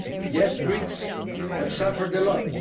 Yes, the Greeks have suffered a lot